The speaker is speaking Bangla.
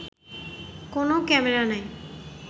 কোনো ক্যামেরা নাই